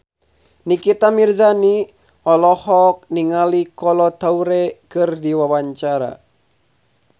Nikita Mirzani olohok ningali Kolo Taure keur diwawancara